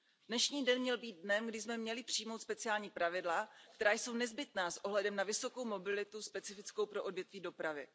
Dnešní den měl být dnem, kdy jsme měli přijmout speciální pravidla, která jsou nezbytná s ohledem na vysokou mobilitu specifickou pro odvětví dopravy.